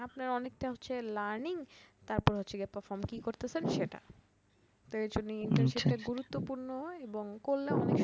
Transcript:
আপনার অনেকটা হচ্ছে learning তারপর হচ্ছে গিয়ে perform কি করতেছেন সেটা, তো এজন্য internship টা গুরুত্বপূর্ণ এবং কল্যাণ অনেক